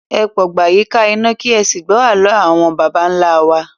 Ẹ pagbo yíká iná, kì ẹ sì gbọ́ àló àwọn baba ńlá wa